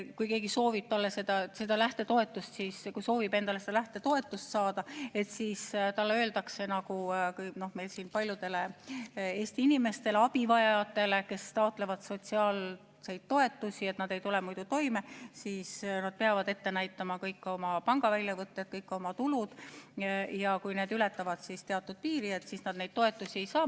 Kui keegi soovib seda saada, et siis talle ei öeldaks – nagu öeldakse paljudele Eesti inimestele, abivajajatele, kes taotlevad sotsiaaltoetusi, sest nad ei tule muidu toime –, et peab ette näitama kõik oma pangaväljavõtted, kõik oma tulud, ja kui need ületavad teatud piiri, siis toetust ei saa.